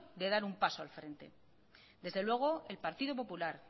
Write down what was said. de dar un paso al frente desde luego el partido popular